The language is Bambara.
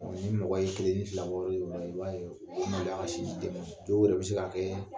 Ni mɔgɔ ye kelen ni fila bɔ yɔrɔ i b'a ye u bɛ maloya ka s'i ma dɔ yɛrɛ bɛ se k'a kɛ